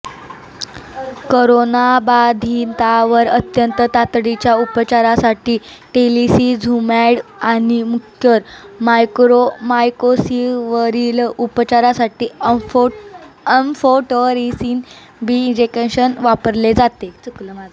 करोनाबाधितांवर अत्यंत तातडीच्या उपचारासाठी टोसिलीझुमॅब आणि म्युकर मायकोसिसवरील उपचारासाठी एम्फोटेरेसीन बी इंजेक्शन वापरले जाते